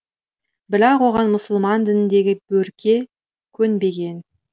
бірақ оған мұсылман дініндегі берке көнбеген